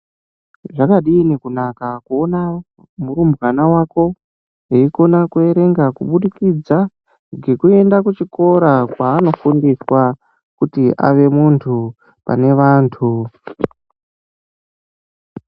Zvakadini kunaka kuona murumbwana wako eikona kuverenga kubudikidza ngekuenda ku chikora kwaano fundiswa kuti ave muntu pane vantu.